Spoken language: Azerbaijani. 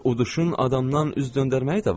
Uduşun adamdan üz döndərməyi də var.